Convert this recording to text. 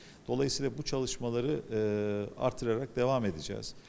Beləliklə, bu işləri eee artıraraq davam edəcəyik.